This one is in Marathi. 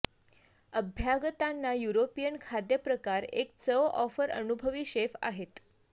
अभ्यागतांना युरोपियन खाद्यप्रकार एक चव ऑफर अनुभवी शेफ आहेत